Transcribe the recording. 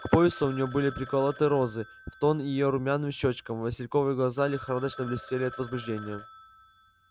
к поясу у нее были приколоты розы в тон её румяным щёчкам васильковые глаза лихорадочно блестели от возбуждения